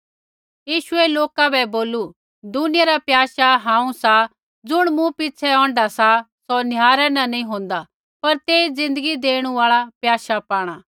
यीशुऐ लोका बै बोलू दुनिया रा प्याशा हांऊँ सा ज़ुण मूँ पिछ़ै औंढा सा सौ निहारै न नी होन्दा पर तेई ज़िन्दगी देणु आल़ा प्याशा पाणा